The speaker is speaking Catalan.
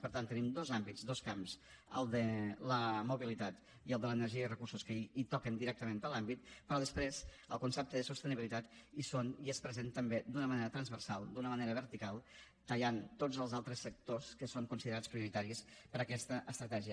per tant tenim dos àmbits dos camps el de la mobilitat i el de l’energia i recursos que hi toquen directament per l’àmbit però després al concepte de sostenibilitat hi són i és present també d’una manera transversal d’una manera vertical tallant tots els altres sectors que són considerats prioritaris per a aquesta estratègia